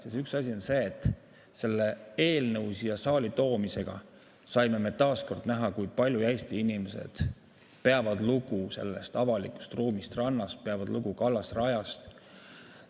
Ja see üks asi on see, et tänu selle eelnõu siia saali toomisele saime me taas kord näha, kui palju Eesti inimesed peavad lugu avalikust ruumist rannas, peavad lugu kallasrajast.